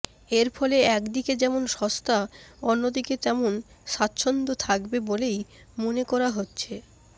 এরফলে একদিকে যেমন সস্তা অন্যদিকে তেমন স্বাচ্ছন্দ্য থাকবে বলেই মনে করা হচ্ছে